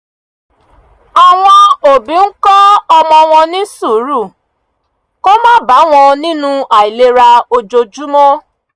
àwọn òbí ń kó ọmọ wọn ní sùúrù kó má bà wọn nínú àìlera ojoojúmọ́